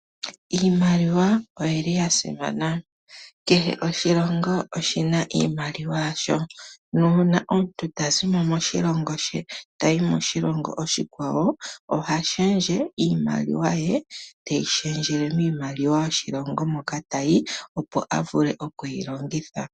Iimaliwa oyili ya simana. Kehe oshilongo oshina iimaliwa yasho, nuuna omuntu ta zi mo moshilongo she tayi moshilongo oshikwawo oha lundulula iimaliwa ye, teyi lundululile miimaliwa yoshilongo moka tayi opo a vule okuyi longitha.